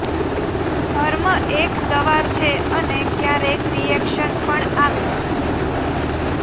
ધર્મ એક દવા છે અને ક્યારેક રિએક્શન પણ આવે